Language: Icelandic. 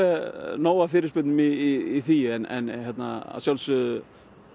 nóg af fyrirspurnum í því en að sjálfsögðu